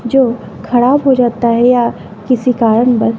जो ख़राब हो जाता है या किसी कारण बन्द--